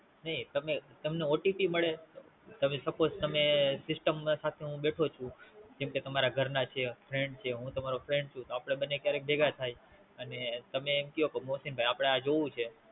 નાય તમે તમને OTP મળે તમે Suppose તમે System ના સાથે હું બેઠો છું જેમ કે તમારા ઘરના છે Friend છે હું તમારો Friend છું તો આપડે ક્યારેક બંને ભેગા થયી અને તમે મ કયો કે મોસીન ભાઈ આપડે આ જોવું છે